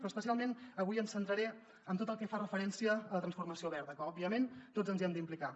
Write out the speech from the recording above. però especialment avui em centraré en tot el que fa referència a la transformació verda que òbviament tots ens hi hem d’implicar